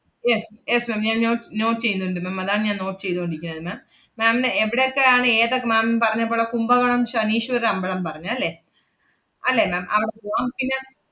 yes yes ma'am ഞാൻ no~ note ചെയ്യുന്നുണ്ട് ma'am അതാണ്‌ ഞാൻ note ചെയ്തോണ്ടിരിക്കുന്നത് ma'am, ma'am ന് എവടെയെക്കെ ആണ് ഏത~ ma'am പറഞ്ഞ പോളെ കുംഭകോണം ശനീശ്വര അമ്പളം പറഞ്ഞല്ലേ? അല്ലേ ma'am അവടെ പൂവാം. പിന്നെ,